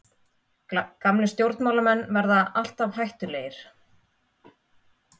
Gamlir stjórnmálamenn verða alltaf hættulegir.